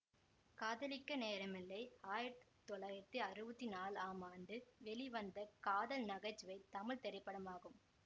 காதலிக்க நேரமில்லை ஆயிரத்தி தொள்ளாயிரத்தி அறுவத்தி நாலாம் ஆண்டு வெளிவந்த காதல் நகைச்சுவை தமிழ் திரைப்படமாகும்